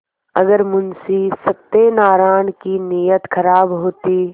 अगर मुंशी सत्यनाराण की नीयत खराब होती